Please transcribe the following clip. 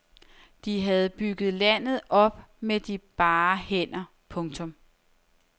De havde bygget landet op med de bare hænder. punktum